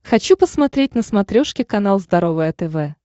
хочу посмотреть на смотрешке канал здоровое тв